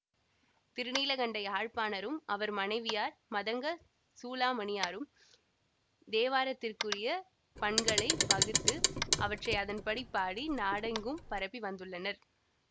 திருநீலகண்ட யாழ்ப்பாணரும் அவர் மனைவியார் மதங்க சூளாமணியாரும் தேவாரத்திற்குரிய பண்களை வகுத்து அவற்றை அதன்படி பாடி நாடெங்கும் பரப்பி வந்துள்ளனர்